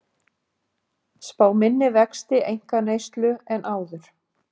Spá minni vexti einkaneyslu en áður